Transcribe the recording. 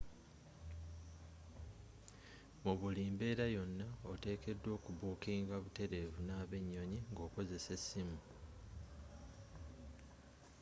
mu buli mbeera yonna oteekeddwa okubukinga buteerevu n'abennyonyi ng'okozesa essimu